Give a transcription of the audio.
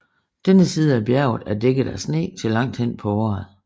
Denne side af bjerget er dækket af sne til langt hen på året